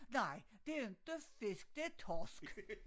Nej det er inte fisk det er torsk